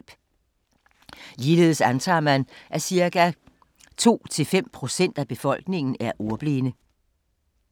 Ligeledes antager man, at cirka 2-5 procent af befolkningen er ordblinde.